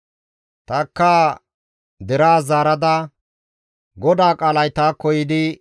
Tanikka deraas zaarada, «GODAA qaalay taakko yiidi,